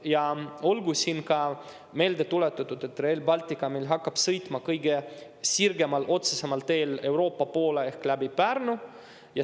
Ja olgu siin ka meelde tuletatud, et Rail Baltic meil hakkab sõitma kõige sirgemat, otsemat teed pidi Euroopa poole ehk läbi Pärnu.